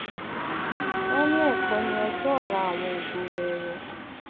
wọn ní ẹkọ ní ọjọ ọla àwọn ògo wẹẹrẹ